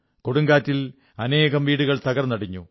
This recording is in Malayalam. കൊടുങ്കാറ്റിൽ അനേകം വീടുകൾ തകർന്നടിഞ്ഞു